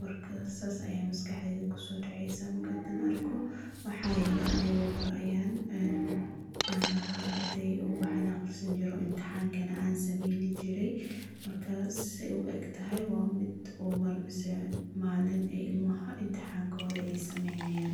marka sas aya maskaxdeyda kusodeceysa marka arko waxa yele, anigu mar ayan aha ardey oo waxbadan agrisanjiray oo imtihankana an sameynjiree, markas say uegtahay wa mid mise ee malin ee ilmaha imtihankoda aya sameynayan.